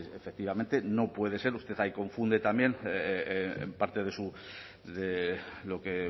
efectivamente no puede ser usted ahí confunde también en parte de lo que